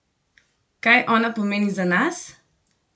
Kaj ona pomeni za nas?